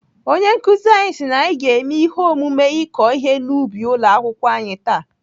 Onye nkụzi anyị si na anyị ga-eme ihe omume ị̀kọ ihe n'ubi ụlọ akwụkwọ anyị taa.